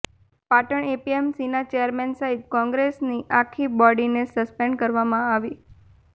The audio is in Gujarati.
પાટણ એપીએમસીના ચેરમેન સહિત કોંગ્રેસની આખી બોડીને સસ્પેન્ડ કરવામાં આવી